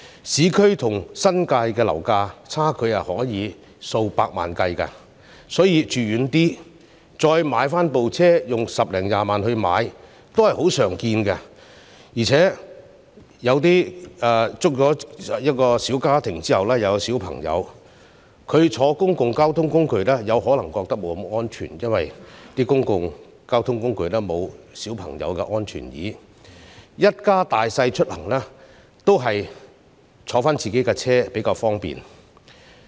市區和新界的樓價差距可以是數百萬元計，所以，市民選擇居於較偏遠的地區，再花十多二十萬元來購買汽車代步是十分常見的，而且有些小家庭生育孩子後，或會認為乘坐公共交通工具不太安全，因為公共交通工具沒有為小孩而設的安全椅，一家大小出行還是乘坐自己的汽車較方便。